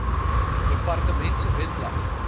departement se webblad